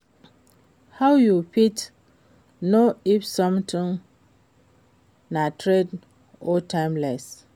How you fit know if something na trend or timeless?